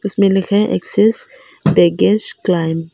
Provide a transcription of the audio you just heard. इसमें लिखा excess baggage claim.